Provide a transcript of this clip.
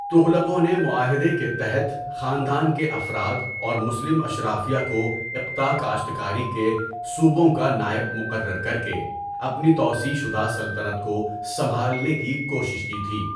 تغلقوں نے معاہدے کے تحت خاندان کے افراد اور مسلم اشرافیہ کو اقطاع کاشتکاری کے صوبوںکا نائب مقرر کر کے اپنی توسیع شدہ سلطنت کو سنبھالنے کی کوشش کی تھی.